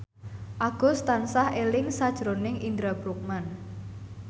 Agus tansah eling sakjroning Indra Bruggman